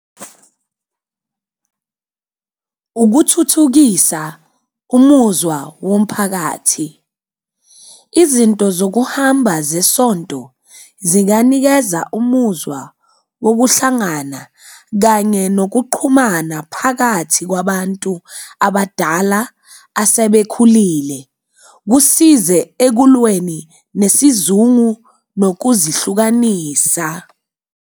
Ukuthuthukisa umuzwa womphakathi, izinto zokuhamba zesonto zinganikeza umuzwa wokuhlangana kanye nokuqhumana phakathi kwabantu abadala asebekhulile, kusize ekulweni nesizungu nokuzihlukanisa.